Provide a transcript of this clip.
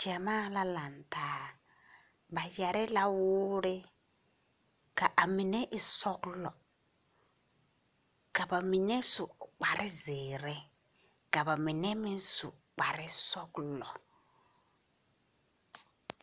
Gyamaa la laŋe taa, ba yԑre la woore ka a mine e sͻgelͻ, ka ba mine su kpare zeere ka ba mine meŋ su kpare sͻgelͻ.